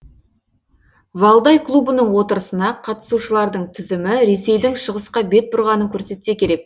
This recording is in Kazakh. валдай клубының отырысына қатысушылардың тізімі ресейдің шығысқа бет бұрғанын көрсетсе керек